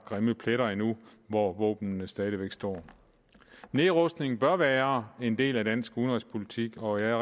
grimme pletter endnu hvor våbnene stadig væk står nedrustning bør være en del af dansk udenrigspolitik og jeg